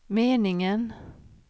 meningen